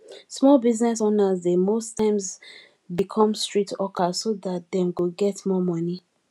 small business owners dey most times become street hawkers so that dem go get more money